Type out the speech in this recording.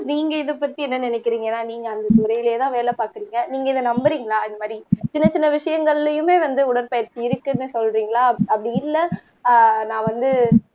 நீங்க இதைப்பத்தி என்ன நினைக்கறீங்கன்னா நீங்க அந்த துறையிலேதான் வேலை பாக்குறீங்க நீங்க இத நம்பறீங்களா இது மாரி சின்னச் சின்ன விஷயங்கள்லயுமே வந்து உடற்பயிற்சி இருக்குன்னு சொல்றீங்களா அப்படி இல்ல நான் வந்து